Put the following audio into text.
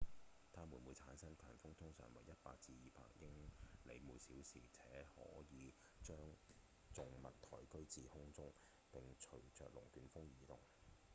它們會產生強風通常為 100-200 英里/小時且可以將重物抬舉至空中並隨著龍捲風移動